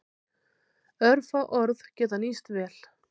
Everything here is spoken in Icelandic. Örfá orð geta nýst vel.